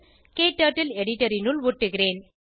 க்டர்ட்டில் எடிட்டர் னுள் ஒட்டுகிறேன்